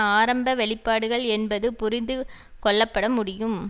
ஆரம்ப வெளிப்பாடுகள் என்பது புரிந்து கொள்ளப்பட முடியும்